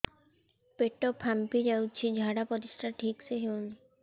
ପେଟ ଫାମ୍ପି ଯାଉଛି ଝାଡ଼ା ପରିସ୍ରା ଠିକ ସେ ହଉନି